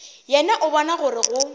yena o bona gore go